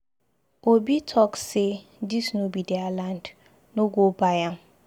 Obi talk say dis no be their land. No go buy am.